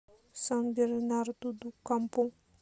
сан бернарду ду кампу